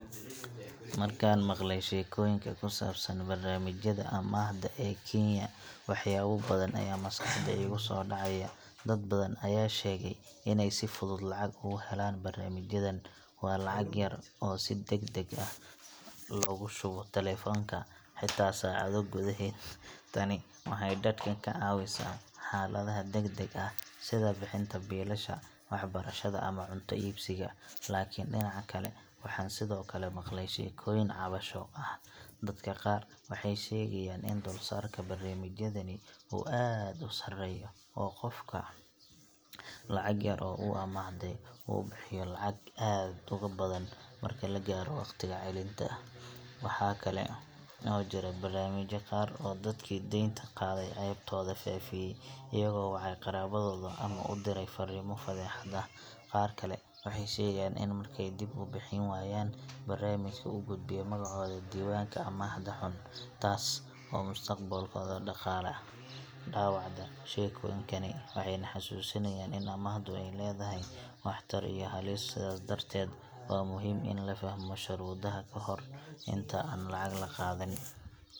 Markaan maqlay sheekooyinka ku saabsan barnaamijyada amaahda ee Kenya, waxyaabo badan ayaa maskaxda iigu soo dhacay. Dad badan ayaa sheegay in ay si fudud lacag uga helaan barnaamijyadan – waa lacag yar oo si degdeg ah loogu shubo taleefanka, xitaa saacado gudaheed. Tani waxay dadka ka caawisaa xaaladaha degdegga ah sida bixinta biilasha, waxbarashada ama cunto iibsiga. Laakiin dhinaca kale, waxaan sidoo kale maqlay sheekooyin cabasho ah. Dadka qaar waxay sheegayaan in dulsaarka barnaamijyadani uu aad u sarreeyo, oo qofku lacag yar oo uu amaahday, uu bixiyo lacag aad uga badan marka la gaaro waqtiga celinta. Waxaa kale oo jira barnaamijyo qaar oo dadkii deynta qaaday ceebtooda faafiyay, iyagoo wacay qaraabadooda ama u diray farriimo fadeexad ah. Qaar kale waxay sheegaan in markay dib u bixin waayaan, barnaamijku u gudbiyo magacooda diiwaanka amaahda xun, taas oo mustaqbalkooda dhaqaale dhaawacda. Sheekooyinkani waxay na xasuusinayaan in amaahdu ay leedahay waxtar iyo halis, sidaas darteed waa muhiim in la fahmo shuruudaha ka hor inta aan lacag la qaadan.